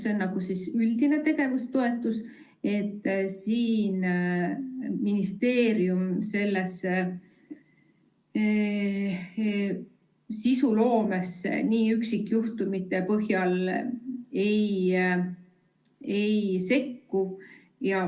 See on üldine tegevustoetus, siin ministeerium sisuloomesse üksikjuhtumite põhjal ei sekku.